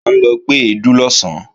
À ń lọ gbé èédú lọ̀sán